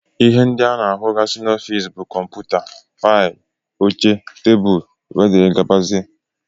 Ihe ndị ana ahụgasi n'ofici bụ kọmputa, faịlụ, óche, tebụl wdg.